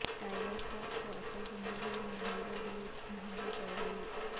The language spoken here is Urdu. ٹائیگر شروف کو اصل زندگی میں ہیرو گری مہنگی پڑ گئی